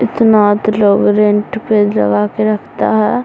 इतना तो लोग रेंट पे लगाके रखता है।